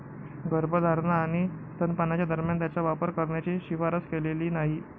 गर्भधारणा आणि स्तनपानाच्या दरम्यान त्याचा वापर करण्याची शिफारस केलेली नाही.